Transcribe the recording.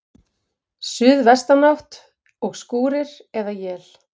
Suðvestanátt og skúrir eða él